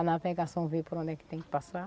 A navegação vê por onde é que tem que passar.